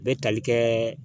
Bɛ tali kɛɛ